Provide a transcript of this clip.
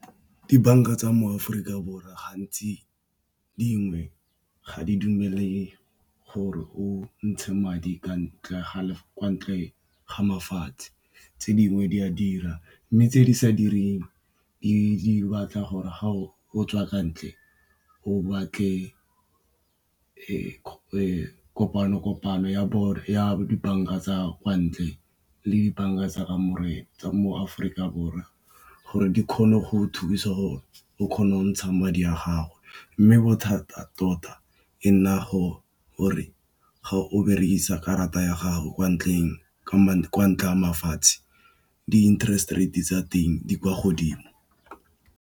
Dibanka tsa mo Aforika Borwa gantsi dingwe ga di dumele gore o ntshe madi kwa ntle ga mafatshe, tse dingwe di a dira mme tse di sa direng di batla gore a gago o tswa kwa ntle o batle kopano ya bone ya dibanka tsa kwa ntle le dibanka tsa kamore mo Aforika Borwa gore di kgone go thusa gore o kgona go ntsha madi a gago mme bothata tota e nna gore ga o berekisa karata ya gago kwa ntleng mafatshe di interest rate tsa teng di kwa godimo.